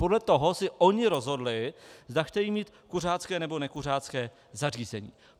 Podle toho si oni rozhodli, zda chtějí mít kuřácké, nebo nekuřácké zařízení.